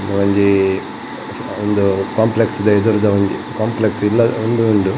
ಒಂಜೀ ಉಂದೂ ಕಾಂಪ್ಲೆಕ್ಸ್ ದ ಎದುರುದ ಒಂಜೀ ಕಾಂಪ್ಲೆಕ್ಸ್ ಇಲ್ಲ ಉಂದು ಉಂಡು.